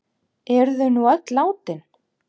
Eru þau nú öll látin.